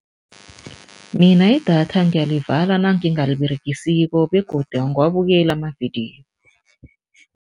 Mina idatha ngiyalivala nangingaliberegesiko begodu angiwabukeli amavidiyo.